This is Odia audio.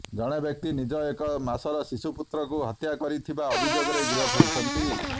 ଜଣେ ବ୍ୟକ୍ତି ନିଜ ଏକ ମାସର ଶିଶୁପୁତ୍ରକୁ ହତ୍ୟା କରିଥିବା ଅଭିଯୋଗରେ ଗିରଫ ହୋଇଛନ୍ତି